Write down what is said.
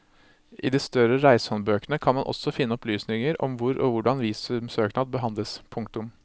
I de større reisehåndbøkene kan man også finne opplysninger om hvor og hvordan visumsøknad behandles. punktum